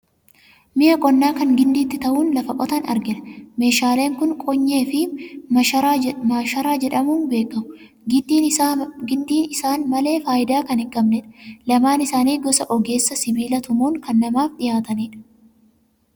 Mi'a qonnaa kan gindiitti ta'uun lafa qotan argina. Meeshaaleen kun qonyee fi maasharaa jedhamuun beekamu. Gindiin isaan malee faayidaa kan hin qabneedha. Lamaan isaanii ogeessa sibiila tumuun kan namaaf dhiyaatanidha.